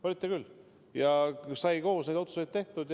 Olite küll, ja sai koos neid otsuseid tehtud.